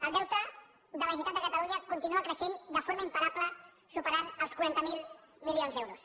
el deute de la generalitat de catalunya continua creixent de forma imparable i supera els quaranta miler milions d’euros